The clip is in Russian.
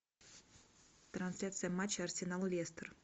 трансляция матча арсенал лестер